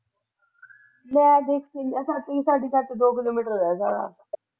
ਸਾਡੇ ਘਰ ਤੋਂ ਦੋ ਕਿਲੋ ਮੀਟਰ ਰਹਿ ਜਾਂਦਾ ਹੈ।